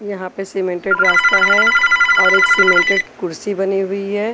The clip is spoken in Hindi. यहां पे सीमेंटेड रास्ता है और एक सीमेंटेड कुर्सी बनी हुई है।